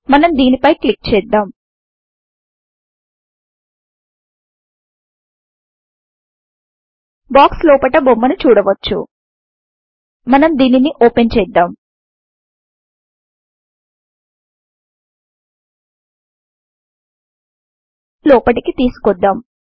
మనం దీని పై క్లిక్ చేద్దాం బాక్స్ లోపట బొమ్మను చూడవచ్చు మనం దీనిని ఓపెన్ చేద్దాం లోపటికి తీసుకొద్దాం